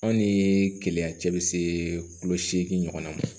Anw ni keleya cɛ bi see kulo seegin ɲɔgɔn na ma